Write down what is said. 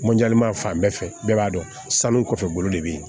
fan bɛɛ fɛ bɛɛ b'a dɔn sanu kɔfɛ bolo de bɛ yen